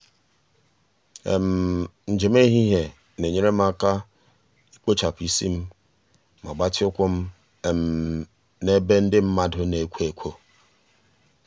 njem etiti ehihie na-enyere m aka ikpochapụ isi m ma gbatịa ụkwụ m na ebe ndị mmadụ na-ekwo ekwo.